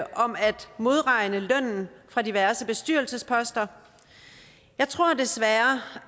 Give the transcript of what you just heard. modregne lønnen fra diverse bestyrelsesposter jeg tror desværre